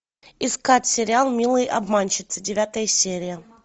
искать сериал милые обманщицы девятая серия